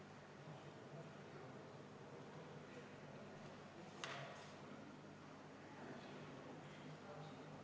Küsin sellelesamale viimasele vastusele jätkuks, et kui avastatakse, et see raha on maksmata, kas see siis jääbki saamata.